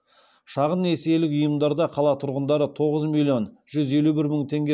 шағын несиелік ұйымдарда қала тұрғындары тоғыз миллион жүз елу бір мың теңге